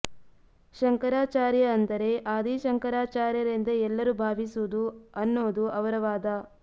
ಶಂಕರಾಚಾರ್ಯ ಅಂದರೆ ಆದಿ ಶಂಕರಾಚಾರ್ಯರೆಂದೇ ಎಲ್ಲರೂ ಭಾವಿಸುವುದು ಅನ್ನೋದು ಅವರ ವಾದ